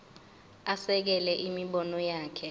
asekele imibono yakhe